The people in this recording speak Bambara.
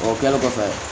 O kɛlen kɔfɛ